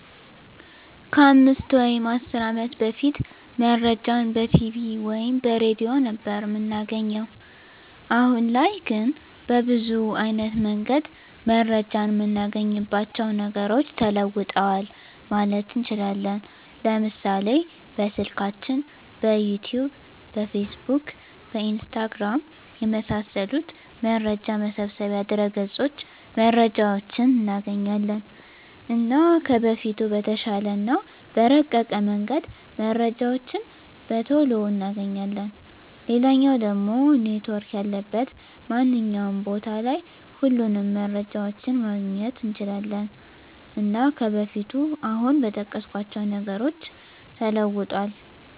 ከ 5 ወይም 10 አመት በፊት መረጃን በቲቪ ወይም በሬድዮ ነበር እምናገኘዉ። አሁን ላይ ግን በብዙ አይነት መንገድ መረጃን እምናገኝባቸዉ ነገሮች ተለዉጠዋል ማለት እንችላለን፤ ለምሳሌ፦ በስልካችን፣ በዩቱዩብ፣ በፌስቡክ፣ በኢንስታግራም፣ የመሳሰሉት መረጃ መሰብሰቢያ ድረገፆች መረጃዎችን እናገኛለን። እና ከበፊቱ በተሻለ እና በረቀቀ መንገድ መረጃዎችን በቶሎ እናገኛለን፣ ሌላኛዉ ደሞ ኔትዎርክ ያለበት ማንኛዉም ቦታ ላይ ሁሉንም መረጃዎችን ማግኘት እንችላለን። እና ከበፊቱ አሁን በጠቀስኳቸዉ ነገሮች ተለዉጧል።